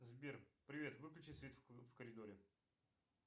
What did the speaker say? сбер привет выключи свет в коридоре